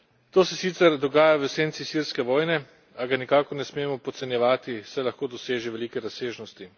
To se sicer dogaja v senci sirske vojne, a ga nikakor ne smemo podcenjevati, saj lahko doseže velike razsežnosti.